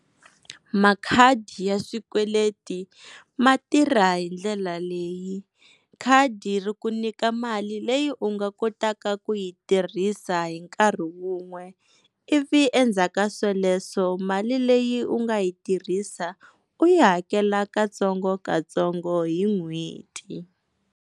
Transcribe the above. Makhadi ya swikweleti ma tirha hi ndlela leyi, khadi ri ku nyika mali leyi u nga kotaka ku yi tirhisa hi nkarhi wun'we ivi endzhaku ka sweleswo mali leyi u nga yi tirhisa u yi hakela katsongokatsongo hi n'hweti.